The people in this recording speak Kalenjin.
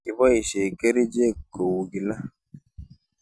Kiboishe kerichek kou kila.